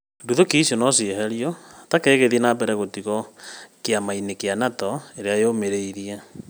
nduthùki icio nocieherio, Turkey ĩgĩthiĩ na mbere gũtigwo kĩama inĩ kĩa NATO ĩrĩa yũmĩrĩirie